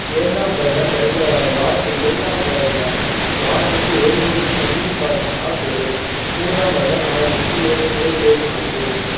இரண்டாம் வருடம் வருத~ வாரத்துக்கு இரண்டாம் வருடம் வாரத்துக்கு ஒருமுறை தண்ணீர் பாய்ச்சினால் போதும் மூன்றாம் வருடம் மாதத்திற்கு இரண்டு முறை போதுமானது